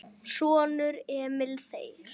Sonur: Emil Þeyr.